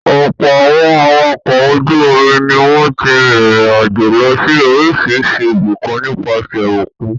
Ọ̀pọ̀ àwọn awakọ̀ ojú-omi ni wọ́n ti rìnrìn-àjò lọ sí oríṣiríṣi ibìkan nípasẹ̀ òkun.